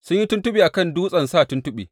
Sun yi tuntuɓe a kan dutsen sa tuntuɓe.